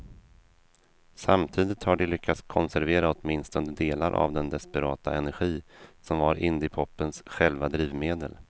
Samtidigt har de lyckats konservera åtminstone delar av den desperata energi som var indiepopens själva drivmedel.